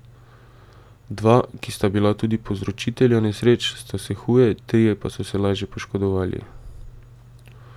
Dva, ki sta bila tudi povzročitelja nesreč, sta se huje, trije pa so se lažje poškodovali.